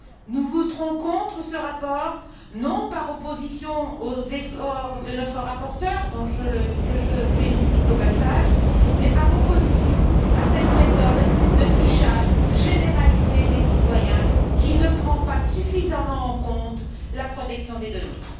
Nous voterons contre ce rapport, non par opposition aux efforts de notre rapporteur, que je félicite au passage, mais par opposition à cette méthode de fichage généralisé des citoyens qui ne prend pas suffisamment en compte la protection des données.